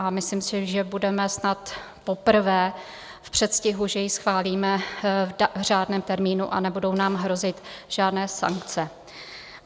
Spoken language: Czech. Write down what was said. A myslím si, že budeme snad poprvé v předstihu, že ji schválíme v řádném termínu a nebudou nám hrozit žádné sankce.